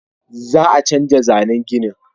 Za a canja zannen ginin